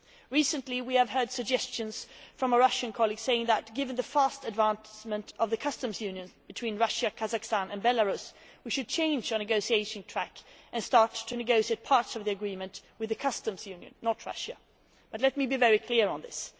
Recently, we have heard suggestions from a Russian colleague saying that, given the fast advancement of the customs union between Russia, Kazakhstan and Belarus, we should change our negotiation track and start to negotiate parts of the agreement with the customs union and not Russia. Let me be very clear on this